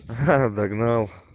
ха догнал